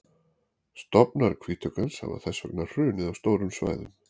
stofnar hvítuggans hafa þess vegna hrunið á stórum svæðum